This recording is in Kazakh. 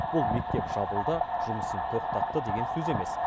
бұл мектеп жабылды жұмысын тоқтатты деген сөз емес